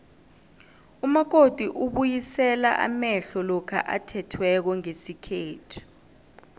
umakoti ubuyisela amehlo lokha athethweko ngesikhethu